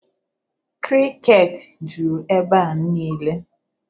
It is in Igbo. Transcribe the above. Krịket juru ebea nile